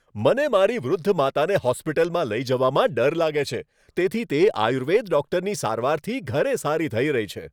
મને મારી વૃદ્ધ માતાને હોસ્પિટલમાં લઈ જવામાં ડર લાગે છે, તેથી તે આયુર્વેદ ડૉક્ટરની સારવારથી ઘરે સારી થઈ રહી છે.